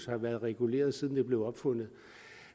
har været reguleret siden det blev opfundet